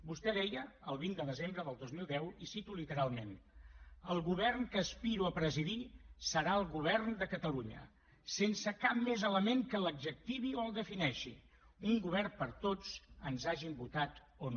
vostè deia el vint de desembre del dos mil deu i ho cito literalment el govern que aspiro a presidir serà el govern de catalunya sense cap més element que l’adjectivi o el defineixi un govern per a tots ens hagin votat o no